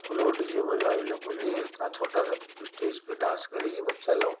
Floor DJ बजा ये लोगो के लिए इतना छोटा स्टेज पे डांस करेगी बच्चा लोग।